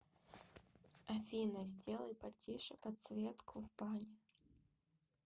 афина сделай потише подсветку в бане